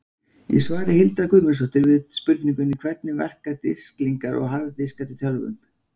Í svari Hildar Guðmundsdóttur við spurningunni Hvernig verka disklingar og harðir diskar í tölvum?